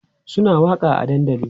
Suna waƙa a dandali